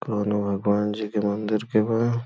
कौनो भगवान जी के मन्दिर के बा।